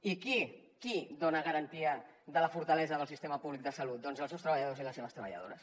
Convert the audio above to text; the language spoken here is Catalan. i qui dona garantia de la fortalesa del sistema públic de salut doncs els seus treballadors i les seves treballadores